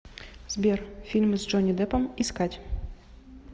сбер фильмы с джонни деппом искать